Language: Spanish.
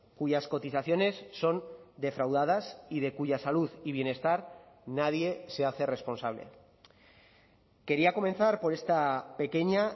cuyas cotizaciones son defraudadas y de cuya salud y bienestar nadie se hace responsable quería comenzar por esta pequeña